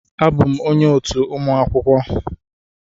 Abụm onye otu ụmụ akwụkwọ